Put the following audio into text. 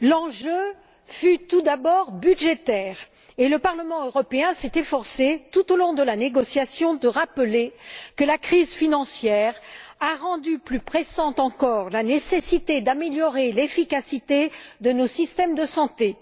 L'enjeu fut tout d'abord budgétaire, et le Parlement européen s'est efforcé, tout au long de la négociation, de rappeler que la crise financière a rendu plus pressante encore la nécessité d'améliorer l'efficacité de nos systèmes de santé.